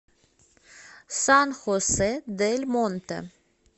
сан хосе дель монте